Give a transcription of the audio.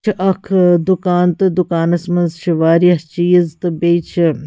.چُھ اکھ آدُکان تہٕ دُکانس منٛزچھ واریاہ چیٖزتہٕ بیٚیہِ چھ